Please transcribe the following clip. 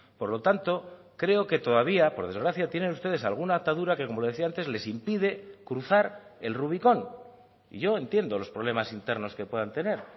por lo tanto creo que todavía por desgracia tienen ustedes alguna atadura que como le decía antes les impide cruzar el rubicón y yo entiendo los problemas internos que puedan tener